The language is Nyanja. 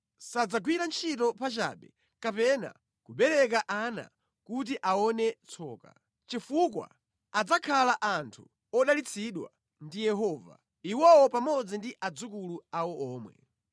Sadzagwira ntchito pachabe kapena kubereka ana kuti aone tsoka; chifukwa adzakhala anthu odalitsidwa ndi Yehova, iwowo pamodzi ndi adzukulu awo omwe.